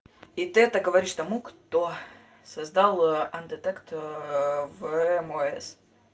и ты это говоришь тому кто создал андетект вмс